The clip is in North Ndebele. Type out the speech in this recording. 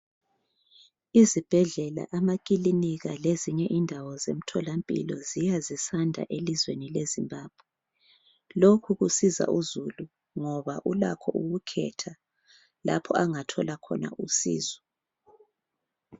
Izibhedlela amakiliniki lezinye indawo zemtholampilo ziya sisanda elizweni leZimbabwe lokhu kusiza uzulu ngoba ulakho ukukhetha lapha angathola khona usizo.